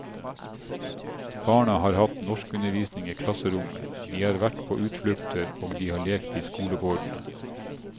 Barna har hatt norskundervisning i klasserommet, de har vært på utflukter og de har lekt i skolegården.